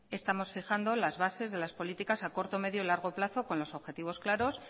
estamos fijando las bases de las políticas a corto medio y largo plazo con los objetivos claros